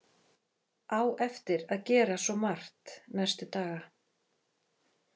Á eftir að gera svo margt næstu daga.